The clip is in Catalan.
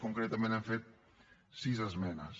concretament hi hem fet sis esmenes